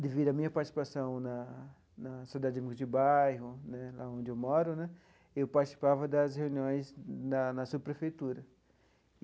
devido à minha participação na na sociedade amigos de bairro né, onde eu moro né, eu participava das reuniões na na subprefeitura.